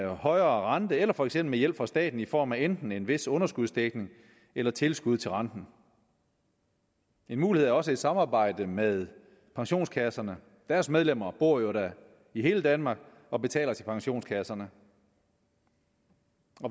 højere rente eller for eksempel med hjælp fra staten i form af enten en vis underskudsdækning eller tilskud til renten en mulighed er også et samarbejde med pensionskasserne deres medlemmer bor jo da i hele danmark og betaler til pensionskasserne